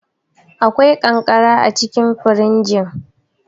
Akwai ƙanƙara acikin firjin.